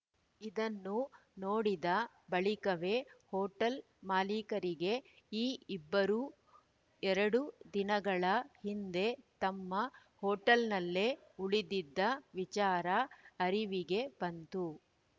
ಇದನ್ನು ನೋಡಿದ ಬಳಿಕವೇ ಹೋಟೆಲ್‌ ಮಾಲೀಕರಿಗೆ ಈ ಇಬ್ಬರೂ ಎರಡು ದಿನಗಳ ಹಿಂದೆ ತಮ್ಮ ಹೋಟೆಲ್‌ನಲ್ಲೇ ಉಳಿದಿದ್ದ ವಿಚಾರ ಅರಿವಿಗೆ ಬಂತು